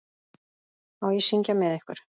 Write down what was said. Má ég syngja með ykkur?